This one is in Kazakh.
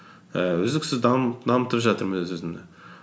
ііі үздіксіз дамытып жатырмын өз өзімді